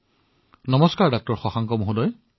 নমস্কাৰ ডাঃ শশাংকজী